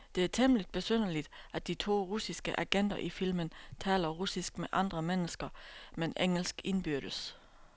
Det er temmeligt besynderligt, at de to russiske agenter i filmen taler russisk med andre mennesker, men engelsk indbyrdes.